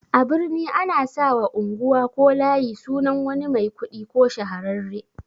A birni ana sawa unguwa ko layi sunan wani mai kuɗi ko shahararre